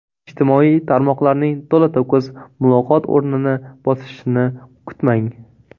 Ijtimoiy tarmoqlarning to‘la-to‘kis muloqot o‘rnini bosishini kutmang.